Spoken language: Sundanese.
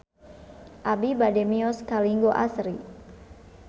Abi bade mios ka Linggo Asri